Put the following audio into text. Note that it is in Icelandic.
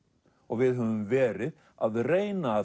við höfum verið að reyna að